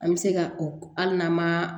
An bɛ se ka o hali n'an ma